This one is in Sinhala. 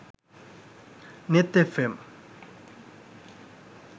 nethfm